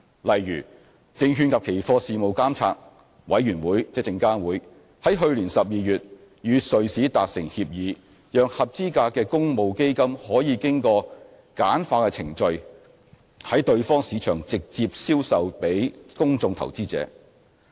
例如，證券及期貨事務監察委員會於去年12月與瑞士達成協議，讓合資格的公募基金可經簡化的程序在對方市場直接銷售予公眾投資者。